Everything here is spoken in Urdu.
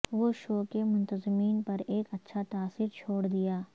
وہ شو کے منتظمین پر ایک اچھا تاثر چھوڑ دیا